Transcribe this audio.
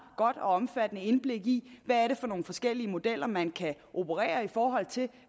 godt og omfattende indblik i hvad det er for nogle forskellige modeller man kan operere i forhold til